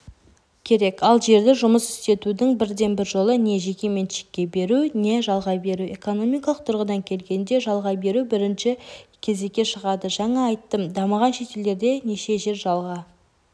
керек ал жерді жұмыс істетудің бірден бір жолы не жеке меншікке беру не жалға беру экономикалық тұрғыдан келгенде жалға беру бірінші кезекке шығады жаңа айттым дамыған шетелдерде неше жер жалға